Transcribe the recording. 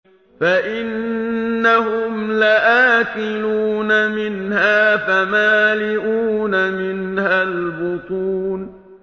فَإِنَّهُمْ لَآكِلُونَ مِنْهَا فَمَالِئُونَ مِنْهَا الْبُطُونَ